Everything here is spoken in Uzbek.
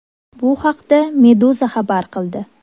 Bu haqda Meduza xabar qildi .